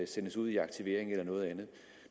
sendes ud i aktivering eller noget andet